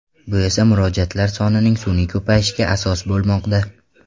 Bu esa murojaatlar sonining sun’iy ko‘payishiga asos bo‘lmoqda.